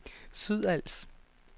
Sydals